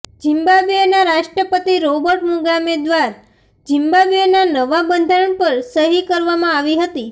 ઝિમ્બાબ્વેના રાષ્ટ્રપતિ Robert Mugabe દ્વાર ઝિમ્બાબ્વેના નવા બંધારણ પર સહી કરવામાં આવી હતી